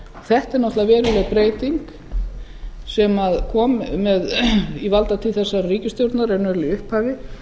þetta er náttúrulega veruleg breyting sem kom í valdatíð þessara ríkisstjórnar raunverulega í upphafi